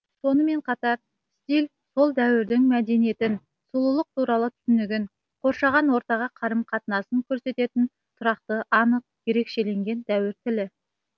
сонымен қатар стиль сол дәуірдің мәдениетін сұлулық туралы түсінігін қоршаған ортаға қарым қатынасын көрсететін тұрақты анық ерекшеленген дәуір тілі